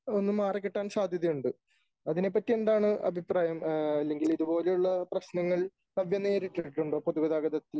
ഒന്ന് മാറിക്കിട്ടാൻ സാധ്യതയുണ്ട് . അതിനെപ്പറ്റി എന്താണ് അഭിപ്രായം ? അല്ലെങ്കിൽ ഇതുപോലെയുള്ള പ്രശ്നങ്ങൾ നേരിട്ടിട്ടുണ്ടോ പൊതുഗതാഗതത്തിൽ